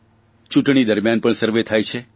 ચૂંટણી દરમિયાન પણ સર્વે થાય છે